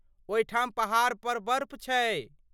ओहिठाम पहाड़ पर बर्फ छै?